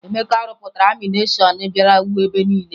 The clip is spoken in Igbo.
Emeka rụpụtara anịmeshọn bịara wuo ebe niile